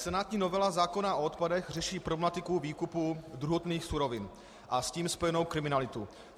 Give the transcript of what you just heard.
Senátní novela zákona o odpadech řeší problematiku výkupu druhotných surovin a s tím spojenou kriminalitu.